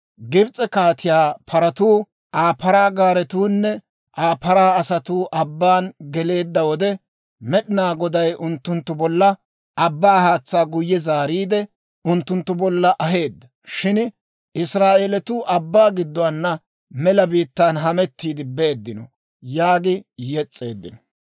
Gibs'e kaatiyaa paratuu, Aa paraa gaaretuunne Aa paraa asatuu abbaan geleedda wode, Med'inaa Goday unttunttu bolla abbaa haatsaa guyye zaariide unttunttu bolla aheedda; shin Israa'eelatuu abbaa gidduwaana mela biittaan hamettiidde beeddino yaagi yes's'eeddino.